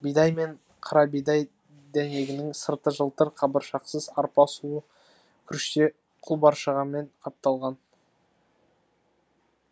бидай мен қарабидай дәнегінің сырты жылтыр қабыршақсыз арпа сұлы күріште құлқабыршағымен қапталған